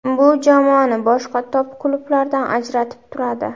Bu jamoani boshqa top-klublardan ajratib turadi.